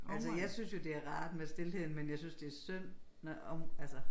Altså jeg synes jo det rart med stilheden men jeg synes det synd når om altså